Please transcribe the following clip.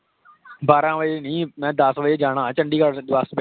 ਬਾਰਾਂ ਵਾਜੇ ਨਹੀਂ, ਮੈਂ ਦੱਸ ਵਾਜੇ ਜਾਣਾ ਆ ਚੰਡੀਗੜ੍ਹ ਬੱਸ ਵਿੱਚ